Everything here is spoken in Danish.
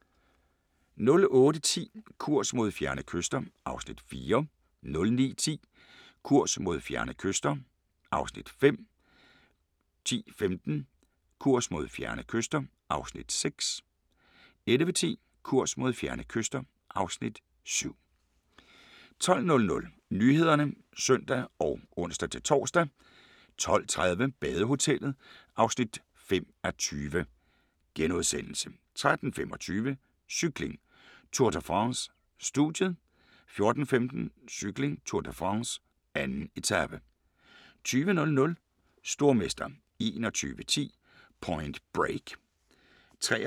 08:10: Kurs mod fjerne kyster (Afs. 4) 09:10: Kurs mod fjerne kyster (Afs. 5) 10:15: Kurs mod fjerne kyster (Afs. 6) 11:10: Kurs mod fjerne kyster (Afs. 7) 12:00: Nyhederne (søn og ons-tor) 12:30: Badehotellet (5:20)* 13:25: Cykling: Tour de France - studiet 14:15: Cykling: Tour de France - 2. etape 20:00: Stormester 21:10: Point Break